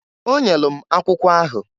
O nyelu m akwụkwọ ahụ.